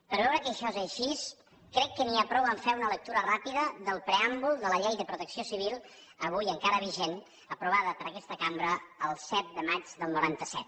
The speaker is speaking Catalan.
per a veure que això és així crec que n’hi ha prou a fer una lectura ràpida del preàmbul de la llei de protecció civil avui encara vigent aprovada per aquesta cambra el set de maig del noranta set